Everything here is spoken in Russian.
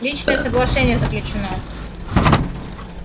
личное соглашение заключено